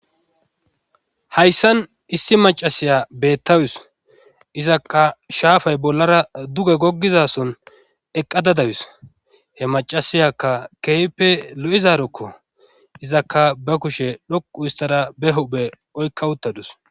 hayssan issi macasiya beettawus izakka shaafay bollara duge goggizason eqqadadawus he macasiyakka keype lo'izarokko izakka ba kushe dhoqu oththada ba hupe oykka uttadus